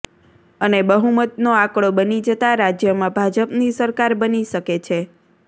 અને બહુમતનો આંકડો બની જતા રાજ્યમાં ભાજપની સરકાર બની શકે છે